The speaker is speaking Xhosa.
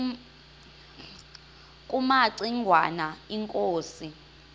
kumaci ngwana inkosi